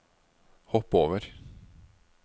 hopp over